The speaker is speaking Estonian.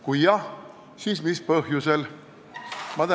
Kui jah, siis mis põhjusel?